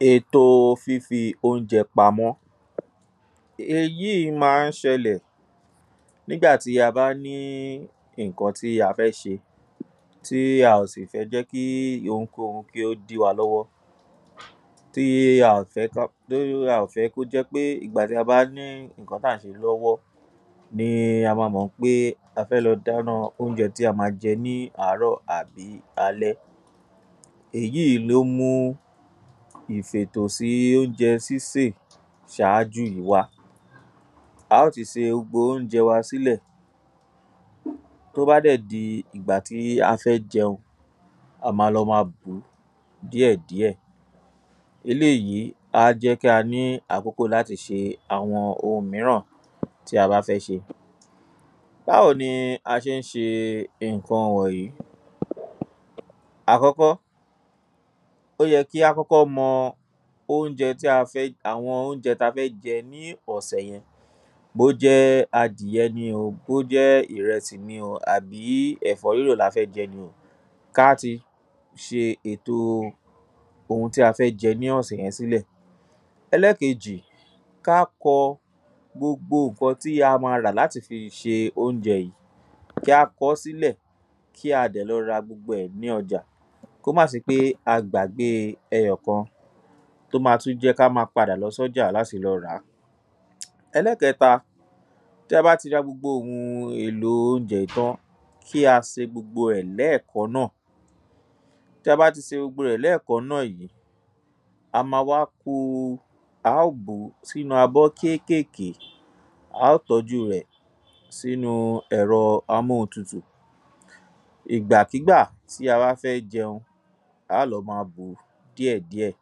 ﻿Ètò fífi ounjẹ pamọ́ Èyí ma ń ṣẹlẹ̀ nígbà tí a bá ní ìnkan tí a fẹ́ ṣe tí a sì fẹ́ jẹ́ kí ohunkóhun kí ó dí wa lọ́wọ́. Tí a ò fẹ́ kó jẹ́ pé tí á bá ní ìnkan tá ń ṣe lọ́wọ́ ni a ma mọ̀ ń pé a fẹ́ lọ dána óunjẹ tí a ma jẹ ní árọ́ àbí alẹ́. Èyí ló mú ìfètò sí óunjẹ sísè ṣáájú wa. Á ó ti se gbogbo óunjẹ wa sí lẹ̀, tó bá dẹ̀ di ìgbà tí a fẹ́ jẹun, a ma lọ ma bù ú díẹ̀ díẹ̀. Eléyí a jẹ́ kí a ní àkókò láti ṣe àwọn ohun míràn tí a bá fẹ́ ṣe. Báwo ni a ṣe ń ṣe iǹkan wọ̀nyí? Àkọ́kọ́, ó jẹ kí á mọ àwọn óunjẹ ti a fẹ́ jẹ ní ọ̀sẹ̀ yẹn bó jẹ́ adìyẹ ni o bó jẹ́ ìrẹsì ni o àbí ẹ̀fọ́ rírò ni a fẹ́ jẹ ni o ka a ti ṣe èto ohun tí a fẹ́ jẹ ní ọ̀sẹ̀ yẹn sílẹ̀. Elékejì, ká kọ gbogbo ǹkan tí a ma rà láti fi ṣe óunjẹ yìí. Kí á kọ́ sílẹ̀ kí a dẹ̀ lọ ra gbogbo rẹ̀ ní ọjà kó má se pé a gbàgbé e ẹyọ kan. Tó ma tú jẹ́ ká ma padà lọ sọ́jà láti lọ rà á. Ẹlẹ́kẹta, ta bá ti ra gbogbo ohun èlò óunjẹ́ yìí tán, kí a se gbogbo ẹ̀ lẹ́ẹ̀kan náà. Tí a bá ti se gbogbo rẹ̀ lẹ́ẹ̀kan náà yìí, a ó bù ú sínu abọ kékèké. A ó tọ́jú rẹ̀ sínu ẹ̀rọ amóhuntutù. Ìgbàkígbà ti a wá fẹ́ jẹun, á lọ ma bù ú díẹ̀ díẹ̀.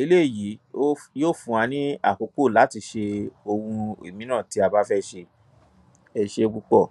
Eléyí yóò fún wa ní àkókò láti ṣe ohun ìmíran tí a bá fẹ́ ṣe. Ẹ ṣe púpọ̀.